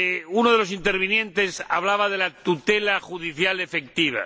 Uno de los intervinientes hablaba de la tutela judicial efectiva.